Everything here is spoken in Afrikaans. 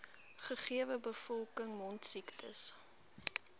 gegewe bevolking mondsiektes